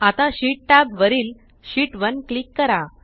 आता sheet tab वरील sheet 1 click करा